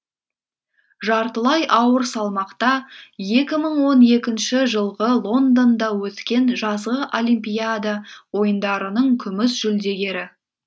жартылай ауыр салмақта екі мың он екінші жылғы лондонда өткен жазғы олимпиада ойындарының күміс жүлдегері